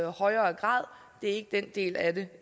højere grad det er ikke den del af det